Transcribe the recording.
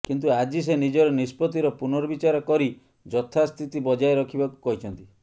କିନ୍ତୁ ଆଜି ସେ ନିଜର ନିଷ୍ପତ୍ତିର ପୁନର୍ବିଚାର କରି ଯଥାସ୍ଥିତି ବଜାୟ ରଖିବାକୁ କହିଛନ୍ତି